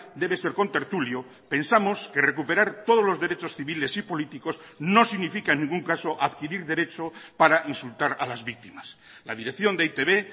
debe ser contertulio pensamos que recuperar todos los derechos civiles y políticos no significa en ningún caso adquirir derecho para insultar a las víctimas la dirección de e i te be